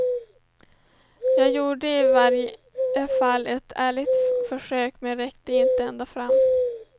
Jag gjorde i varje fall ett ärligt försök, men räckte inte ända fram.